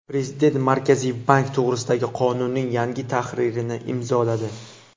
Prezident Markaziy bank to‘g‘risidagi qonunning yangi tahririni imzoladi.